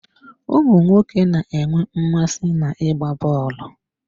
Ụmụ nwoke na-enwe mmasị n'ịgba bọọlụ.